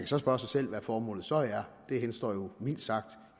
så spørge sig selv hvad formålet så er det henstår jo mildt sagt